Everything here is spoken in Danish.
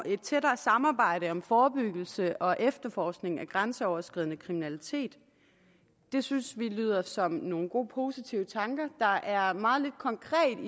et tættere samarbejde om forebyggelse og efterforskning af grænseoverskridende kriminalitet det synes vi lyder som nogle gode positive tanker der er meget lidt konkret